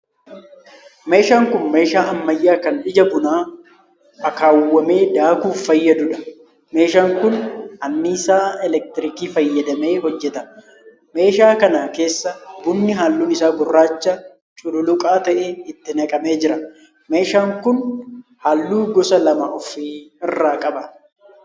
Meeshaan kun meeshaa ammayyaa kan ija bunaa akkaawwame daakuuf fayyaduudha. Meeshaan kun annisaa 'elektirikii' fayyadamee hojjeta. Meeshaa kana keessa bunni halluun isaa gurraacha cululuqaa ta'e itti naqamee jira. Meeshaan kun halluu gosa lama ofi irraa qaba.